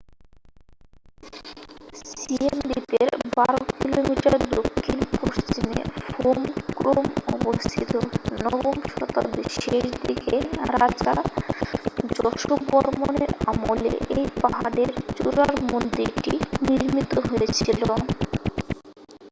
Siem রিপের 12 কিমি দক্ষিণ-পশ্চিমে ফোম ক্রোম অবস্থিত নবম শতাব্দীর শেষদিকে রাজা যশোবর্মনের আমলে এই পাহাড়ের চূড়ার মন্দিরটি নির্মিত হয়েছিল